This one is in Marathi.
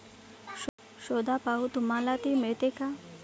शोधा पाहू तुम्हाला ती मिळते का?